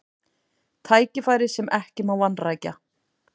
Tækifæri sem ekki má vanrækja